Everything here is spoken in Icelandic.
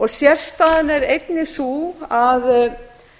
sérstaðan er einnig sú að